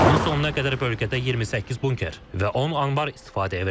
İlin sonuna qədər bölgədə 28 bunker və 10 anbar istifadəyə veriləcək.